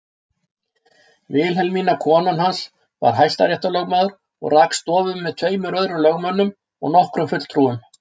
Vilhelmína konan hans var hæstaréttarlögmaður og rak stofu með tveimur öðrum lögmönnum og nokkrum fulltrúum.